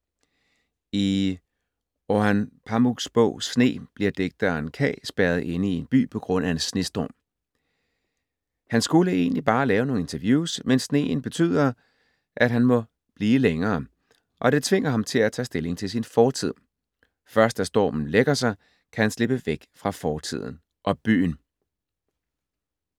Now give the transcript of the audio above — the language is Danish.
I Orhan Pamuks bog Sne bliver digteren Ka spærret inde i en by på grund af en snestorm. Han skulle egentlig bare lave nogle interviews, men sneen betyder, at han må blive længere, og det tvinger ham til at tage stilling til sin fortid. Først da stormen lægger sig, kan han slippe væk fra fortiden og byen.